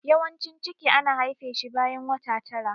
Yawancin ciki ana haife shi bayan wata tara.